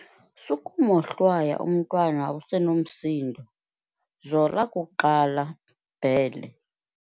Sukumohlwaya umntwana usenomsindo, zola kuqala, Bhele.